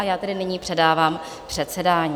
A já tedy nyní předávám předsedání.